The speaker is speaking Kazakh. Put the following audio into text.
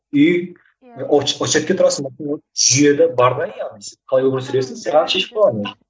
үй жүйеде бар да яғни сен қалай өмір сүресің саған шешіп қойған уже